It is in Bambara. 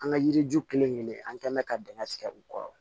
An ka yiri ju kelen kelen an kɛn mɛ ka dingɛ tigɛ u kɔrɔ